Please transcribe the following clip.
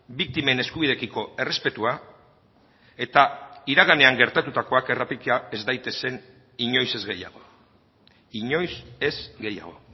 biktimen eskubidekiko errespetua eta iraganean gertatutakoak errepika ez daitezen inoiz ez gehiago inoiz ez gehiago